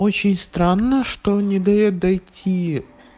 очень странно что не даёт дайте